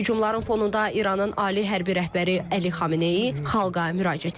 Hücumların fonunda İranın ali hərbi rəhbəri Əli Xameneyi xalqa müraciət edib.